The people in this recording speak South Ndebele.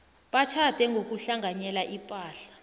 batjhade ngokuhlanganyela ipahla